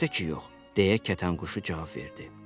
Əlbəttə ki, yox, deyə kətənquşu cavab verdi.